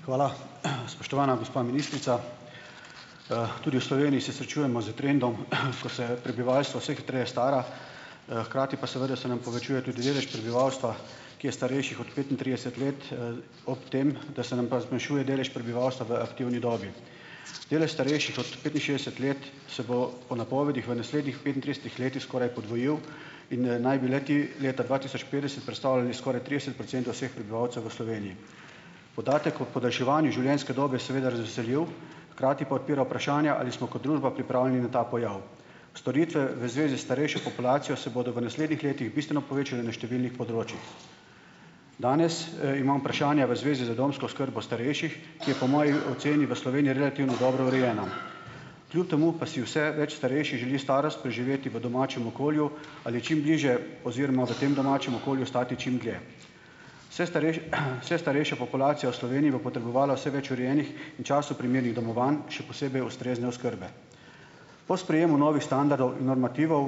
Hvala. Spoštovana gospa ministrica, tudi v Sloveniji se srečujemo z trendom, ko se prebivalstvo vse hitreje stara, hkrati pa, seveda, se nam povečuje tudi delež prebivalstva, ki je starejši od petintrideset let, ob tem, da se nam pa zmanjšuje delež prebivalstva v aktivni dobi. Delež starejših od petinšestdeset let se bo po napovedih v naslednjih petintridesetih letih skoraj podvojil in, naj bi le-ti leta dva tisoč petdeset predstavljali skoraj trideset procentov vseh prebivalcev v Sloveniji. Podatek o podaljševanju življenjske dobe seveda razveseljiv, hkrati pa odpira vprašanja, ali smo kot družba pripravljeni na ta pojav. Storitve v zvezi s starejšo populacijo se bodo v naslednjih letih bistveno povečale na številnih področjih. Danes, imam vprašanja v zvezi z domsko oskrbo starejših, ki je po moji oceni v Sloveniji relativno dobro urejena. Kljub temu pa si vse več starejših želi starost preživeti v domačem okolju ali čim bližje oziroma v tem domačem okolju ostati čim dlje. Vse starejše, vse starejša populacija v Sloveniji bo potrebovala vse več urejenih in času primernih domovanj, še posebej ustrezne oskrbe. Po sprejemu novih standardov in normativov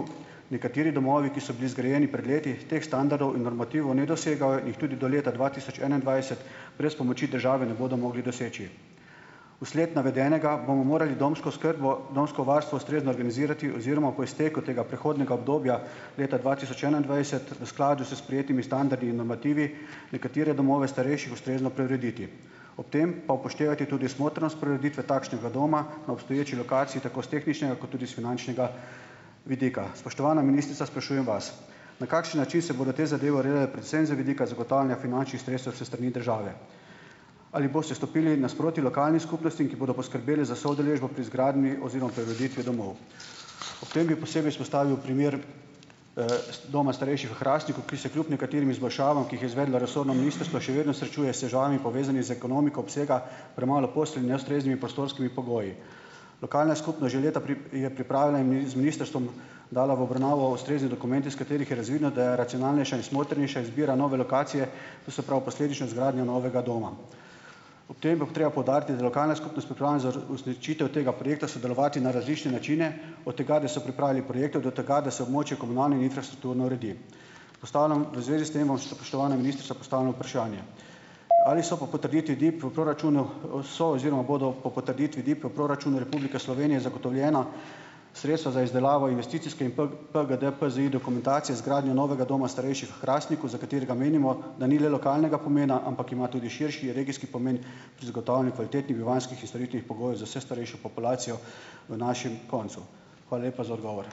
nekateri domovi, ki so bili zgrajeni pred leti, teh standardov in normativov ne dosegajo in jih tudi do leta dva tisoč enaindvajset brez pomoči države ne bodo mogli doseči. Vsled navedenega bomo morali domsko oskrbo, domsko varstvo ustrezno organizirati oziroma po izteku tega prehodnega obdobja leta dva tisoč enaindvajset v skladu s sprejetimi standardi in normativi nekatere domove starejših ustrezno preurediti. Ob tem pa upoštevati tudi smotrnost preureditve takšnega doma na obstoječi lokaciji tako s tehničnega kot tudi s finančnega vidika. Spoštovana ministrica, sprašujem vas, na kakšen način se bodo te zadeve urejale predvsem z vidika zagotavljanja finančnih sredstev s strani države. Ali boste stopili nasproti lokalnim skupnostim, ki bodo poskrbele za soudeležbo pri izgradnji oziroma preureditvi domov? Ob tem bi posebej izpostavil primer, iz doma starejših v Hrastniku, ki se kljub nekaterim izboljšavam, ki jih je izvedlo resorno ministrstvo, še vedno srečuje s težavami, povezanimi z ekonomiko obsega, premalo postelj in neustreznimi prostorskimi pogoji. Lokalna skupnost že leta je pripravila imi, z ministrstvom dala v obravnavo ustrezni dokument, iz katerih je razvidno, da je racionalnejša in smotrnejša izbira nove lokacije, to se pravi posledična izgradnja novega doma. Ob bo treba poudariti, da je lokalna skupnost pripravljena za uresničitev tega projekta sodelovati na različne načine. Od tega, da so pripravili projekt, do tega, da se območje komunalne infrastrukturne uredi. Postavljam v zvezi s tem vam, spoštovana ministrica, postavljam vprašanje: ali so po potrditvi DIP v proračunu, so oziroma bodo po potrditvi DIP v proračunu Republike Slovenije zagotovljena sredstva za izdelavo investicijske in P, PDG, PZI dokumentacije izgradnje novega doma starejših Hrastniku, za katerega menimo, da ni le lokalnega pomena, ampak ima tudi širši, regijski pomen pri zagotavljanju kvalitetnih bivanjskih in storitvenih pogojev za vse starejšo populacijo v našem koncu. Hvala lepa za odgovor.